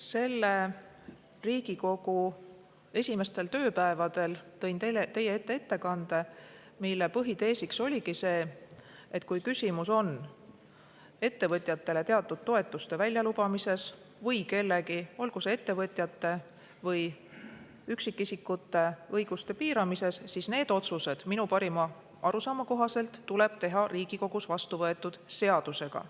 Selle Riigikogu esimestel tööpäevadel tõin teie ette ettekande, mille põhitees oligi see, et kui küsimus on ettevõtjatele teatud toetuste väljalubamises või kellegi, olgu ettevõtjate või üksikisikute õiguste piiramises, siis need otsused tuleb minu parima arusaama kohaselt teha Riigikogus vastu võetud seadusega.